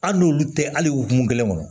Hali n'olu tɛ hali okumu kelen kɔnɔ